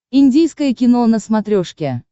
индийское кино на смотрешке